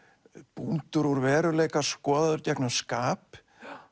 bútur úr veruleika skoðaður gegnum skap